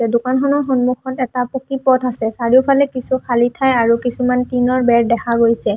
এই দোকানখনৰ সন্মুখত এটা পকী পথ আছে চাৰিওফালে কিছু খালী ঠাই আৰু কিছুমান টিংঙৰ বেৰ দেখা গৈছে।